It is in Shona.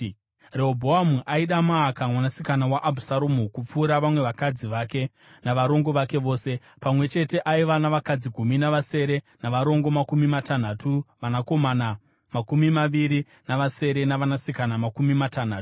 Rehobhoamu aida Maaka mwanasikana waAbhusaromu kupfuura vamwe vakadzi vake navarongo vake vose. Pamwe chete aiva navakadzi gumi navasere, navarongo makumi matanhatu, vanakomana makumi maviri navasere, navanasikana makumi matanhatu.